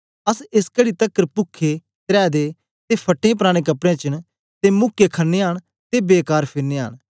अस एस घड़ी तकर पुखेत्रै दे ते फटें पराने कपडें च न ते मुक्के खनयां न ते बेकार फिरनयां न